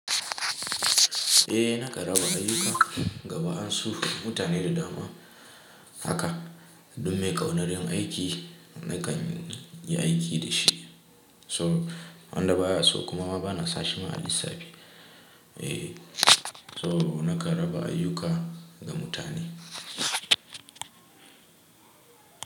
Eh nakan raba ayuka ga ba an su mutane da dama haka duk mai kaunar yin aiki nakan yi aiki da shi so wanda baya so kuma ba na sashi ma a lissafi. Eh so na kan raba ayuka ga mutane.